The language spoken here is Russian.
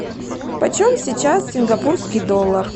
по чем сейчас сингапурский доллар